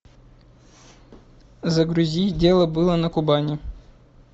загрузи дело было на кубани